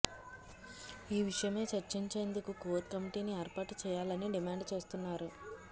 ఈ విషయమై చర్చించేందుకు కోర్ కమిటీని ఏర్పాటు చేయాలని డిమాండ్ చేస్తున్నారు